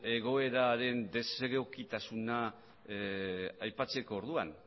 egoeraren desegokitasuna aipatzeko orduan